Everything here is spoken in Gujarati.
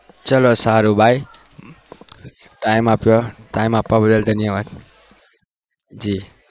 ચલો સારું by time આપ્યો time આપવા બદલ ધન્યવાદ